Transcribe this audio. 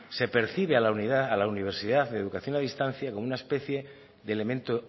se percibe a la unidad a la universidad de educación a distancia como una especie de elemento